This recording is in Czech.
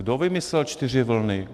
Kdo vymyslel čtyři vlny?